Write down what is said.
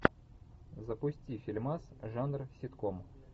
запусти фильмас жанр ситком